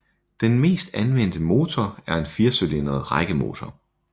Den mest anvendte motor er en firecylindret rækkemotor